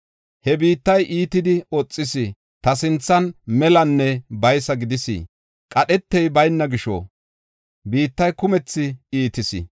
He biittay iitidi oxis; ta sinthan melanne baysa gidis. Qadhetey bayna gisho biittay kumethi iitis.